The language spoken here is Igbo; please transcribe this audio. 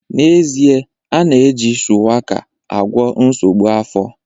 N'ezie, a na-eji shuwaka agwọ nsogbu afọ